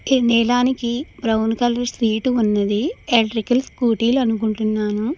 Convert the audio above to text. ఈ నేలానికి brown colour state ఉన్నది ఎలక్ట్రికల్ స్కూటీలు అనుకుంటున్నాను.